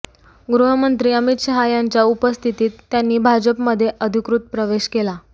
गृहमंत्री अमित शहा यांच्या उपस्थितीत त्यांनी भाजपमध्ये अधिकृत प्रवेश केला